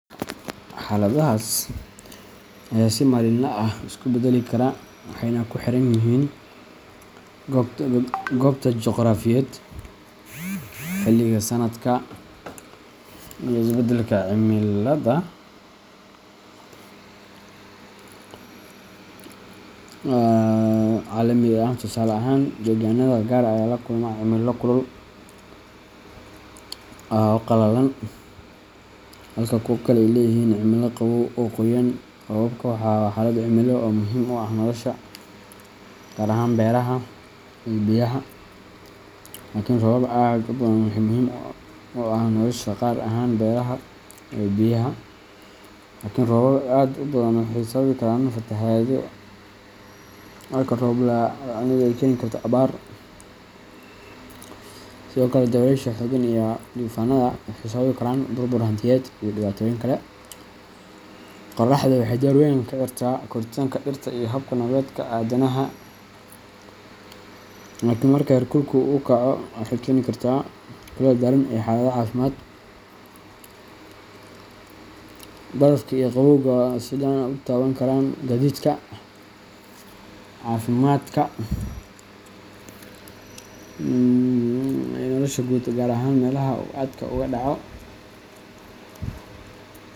Xaaladahaas ayaa si maalinle ah isu beddeli kara waxayna ku xiran yihiin goobta juqraafiyeed, xilliga sanadka, iyo isbeddelka cimilada caalamiga ah. Tusaale ahaan, deegaannada qaar ayaa la kulma cimilo kulul oo qalalan halka kuwa kale ay leeyihiin cimilo qabow oo qoyan. Roobabku waa xaalad cimilo oo muhiim u ah nolosha, gaar ahaan beeraha iyo biyaha, laakiin roobab aad u badan waxay sababi karaan fatahaado, halka roob la’aanina ay keeni karto abaar. Sidoo kale, dabaysha xooggan iyo duufaannada waxay sababi karaan burbur hantiyeed iyo dhibaatooyin kale. Qorraxdu waxay door weyn ka ciyaartaa koritaanka dhirta iyo hab-nololeedka aadanaha, laakiin marka heerkulku aad u kaco, waxay keeni kartaa kulayl daran iyo xaalado caafimaad. Barafka iyo qabowgu waxay si gaar ah u taaban karaan gaadiidka, caafimaadka, iyo nolosha guud, gaar ahaan meelaha uu aadka uga dhaco.